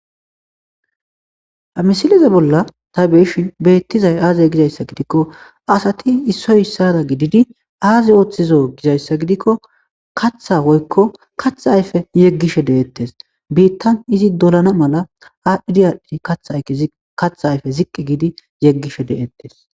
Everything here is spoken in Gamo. amisileze bolla ta beeshin beettizay aazey gizayssa gidikko asati issoy issada gididi aaze ooththizo gizayssa gidikko katha hoykko kath ayfe yeggishe deettes biittan izi dolana mala adhdhidiyadhdi thykatha ayfe ziqqi giidi yeggishe de7ettes